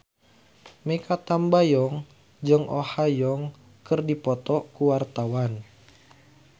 Mikha Tambayong jeung Oh Ha Young keur dipoto ku wartawan